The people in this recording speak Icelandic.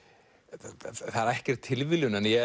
það er ekkert tilviljun en ég